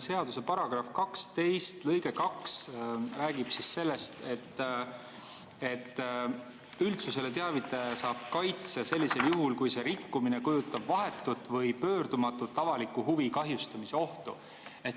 Seaduse § 12 lõige 2 räägib sellest, et üldsusele teavitaja saab kaitse sellisel juhul, kui see rikkumine kujutab vahetut või pöördumatut avaliku huvi kahjustamise ohtu.